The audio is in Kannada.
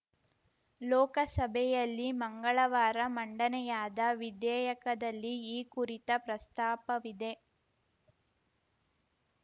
ಲೋಕಸಭೆಯಲ್ಲಿ ಮಂಗಳವಾರ ಮಂಡನೆಯಾದ ವಿಧೇಯಕದಲ್ಲಿ ಈ ಕುರಿತ ಪ್ರಸ್ತಾಪವಿದೆ